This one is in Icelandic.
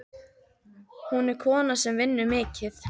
Hún er kona sem vinnur mikið.